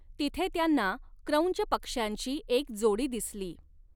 तिथे त्यांना क्रौंच पक्ष्यांची एक जोडी दिसली.